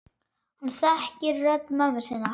Hann þekkir rödd mömmu sinnar.